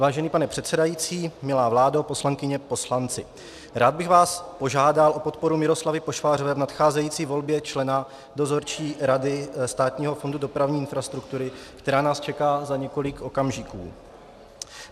Vážený pane předsedající, milá vládo, poslankyně, poslanci, rád bych vás požádal o podporu Miloslavy Pošvářové v nadcházející volbě člena Dozorčí rady Státního fondu dopravní infrastruktury, která nás čeká za několik okamžiků.